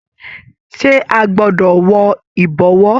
Ṣe a gbọdọ wọ ìbọ̀wọ́?